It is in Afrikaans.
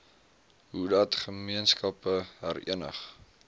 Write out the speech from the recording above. hoedat gemeenskappe herenig